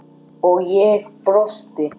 og ég brosti.